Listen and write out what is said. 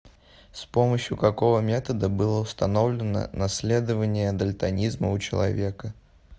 с помощью какого метода было установлено наследование дальтонизма у человека